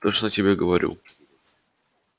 точно тебе говорю